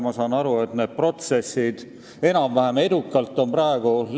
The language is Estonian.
Ma saan aru, et need protsessid on praegu enam-vähem edukalt seljataga.